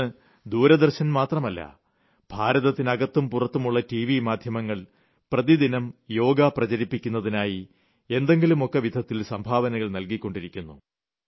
ഇന്ന് ദൂരദർശൻ മാത്രമല്ല ഭാരതത്തിന് അകത്തും പുറത്തുമുളള ടിവി മാധ്യമങ്ങൾ പ്രതിദിനം യോഗ പ്രചരിപ്പിക്കുന്നതിനായി എന്തെങ്കിലുമൊക്കെ വിധത്തിൽ സംഭാവനകൾ നൽകിക്കൊണ്ടിരിക്കുന്നു